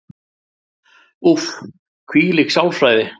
Úff, hvílík sálfræði.